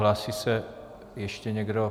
Hlásí se ještě někdo?